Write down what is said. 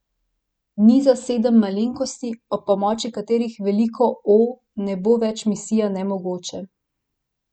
Niza sedem malenkosti, ob pomoči katerih veliko O ne bo več misija nemogoče.